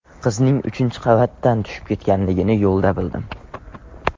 Qizning uchinchi qavatdan tushib ketganligini yo‘lda bildim.